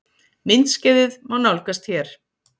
Myndskeiðið má nálgast hér